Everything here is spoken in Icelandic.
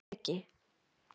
Breki